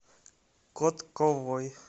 котковой